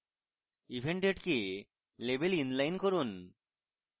event date কে label inline করুন